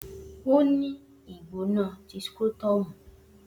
O ni igbona ti scrotum